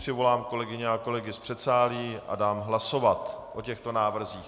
Přivolám kolegyně a kolegy z předsálí a dám hlasovat o těchto návrzích.